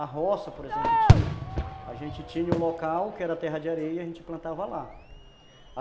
A roça, por exemplo, a gente tinha o local que era terra de areia e a gente plantava lá.